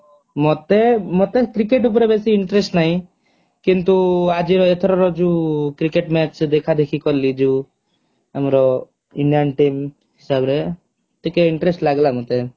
ମତେ ମତେ କ୍ରିକେଟ ଉପରେ ବେସୀ interest ନାହିଁ କିନ୍ତୁ ଆଜିର ଏଥରର ଯୋଉ କ୍ରିକେଟ ମ୍ଯାଚ ଦେଖା ଦେଖି କଲି ଯୋଉ ଆମର indian team ହିସାବରେ ଟିକେ interest ଲାଗିଲା ମତେ